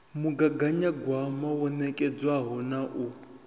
mugaganyagwama wo nekedzwaho na u